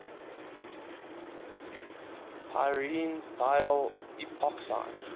pyrene diol epoxide